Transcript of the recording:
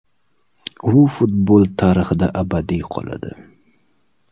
U futbol tarixida abadiy qoladi.